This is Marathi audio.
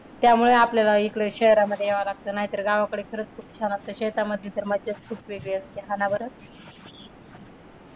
त्यामुळे आपल्याला इकडं शहरांमध्ये यावं लागतं नाहीतर गावाकडं खरच खूप छान असतं शेतामध्ये तर मजाच खूप वेगळी असते हा ना बरं.